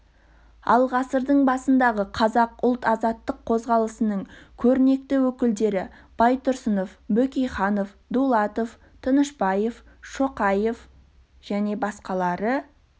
ал ғасырдың басындағы қазақ ұлт азаттық қозғалысының көрнекті өкілдері байтұрсынов бөкейханов дулатов тынышбаев шоқаев және басқалары